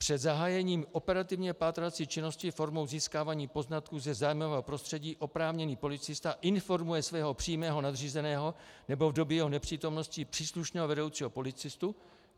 Před zahájením operativně pátrací činnosti formou získávání poznatků ze zájmového prostředí oprávněný policista informuje svého přímého nadřízeného, nebo v době jeho nepřítomnosti příslušného vedoucího policistu.